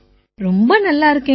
ரொம்ப நல்லா இருக்கேங்க